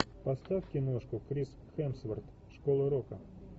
поставь киношку крис хемсворт школа рока